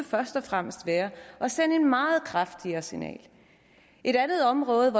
først og fremmest være at sende et meget kraftigere signal et andet område